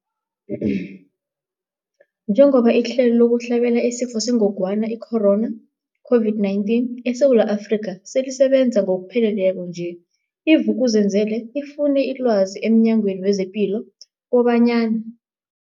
Njengoba ihlelo lokuhlabela isiFo sengogwana i-Corona, i-COVID-19, eSewula Afrika selisebenza ngokupheleleko nje, i-Vuk'uzenzele ifune ilwazi emNyangweni wezePilo kobanyana.